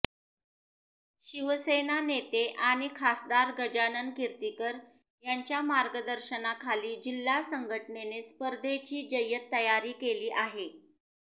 शिवसेना नेते आणि खासदार गजानन कीर्तीकर यांच्या मार्गदर्शनाखाली जिल्हा संघटनेने स्पर्धेची जय्यत तयारी केली आहे